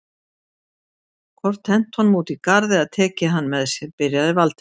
hvort hent honum út í garð eða tekið hann með sér.- byrjaði Valdimar.